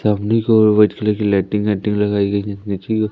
White colour की लाइटिंग वाइटिंग लगाई गई है नीचे की ओर।